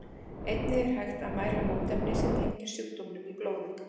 Einnig er hægt að mæla mótefni sem tengjast sjúkdómnum í blóði.